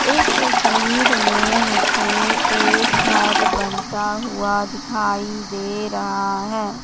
इस तस्वीर में मुझे एक घर बनता हुआ दिखाई दे रहा है।